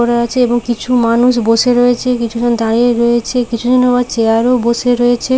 করা আছে এবং কিছু মানুষ বসে রয়েছে কিছু জন দাঁড়িয়ে রয়েছে কিছুজন আবার চেয়ার - এও বসে রয়েছে ।